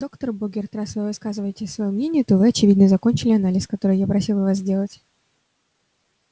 доктор богерт раз вы высказываете своё мнение то вы очевидно закончили анализ который я вас просила сделать